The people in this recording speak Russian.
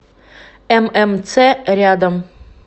ммц рядом